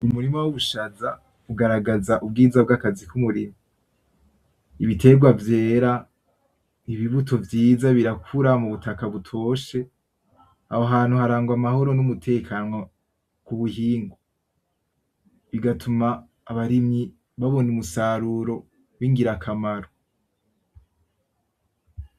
Umurima w'ubushaza bugaragaza ubwiza bwakazi kumurimiyi, ibiterwa vyera, ibibuto vyiza birakura mubutaka butoshe, aho hantu harangwa amahoro numutekano gubuhingu, bigatuma abarimyi babonye umusaruro bigira akamaro.